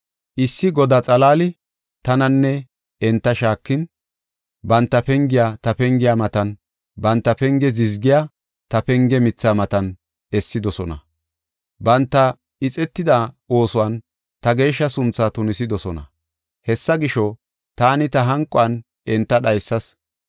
Issi godaa xalaali tananne enta shaakin, banta pengiya ta pengiya matan, banta penge zizgiya ta penge mithaa matan essidosona. Banta ixetida oosuwan ta geeshsha suntha tunisidosona. Hessa gisho, taani ta hanquwan enta dhaysas.